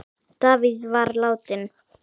Davíð var látinn.